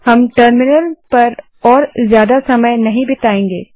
हम टर्मिनल पर अब और समय नहीं बिताएंगे